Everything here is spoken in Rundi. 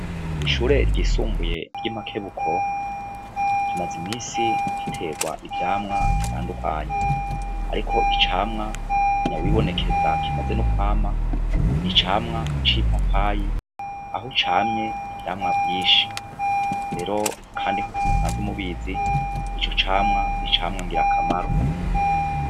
Ishure ryisumbuye ryi makebuko rimazimisi riterwa ivyamwa bitandukanye ariko icamwa nyawibonekeza kimaze nokwama nicamwa cipapayi aho camye ivyamwa vyinshi rero kandi nkuko musanzwe mubizi icocamwa nicamwa ngirakamaro